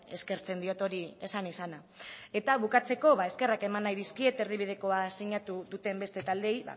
eskertzen diot hori esan izana eta bukatzeko eskerrak eman nahi dizkiet erdibidekoa sinatu duten beste taldeei